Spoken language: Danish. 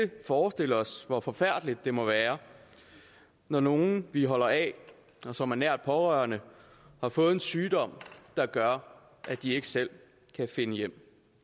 forestille os hvor forfærdeligt det må være når nogle vi holder af og som er nære pårørende har fået en sygdom der gør at de ikke selv kan finde hjem